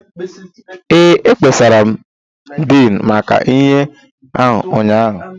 Ee, ekpesara m Din maka ihe a ụnyaahụ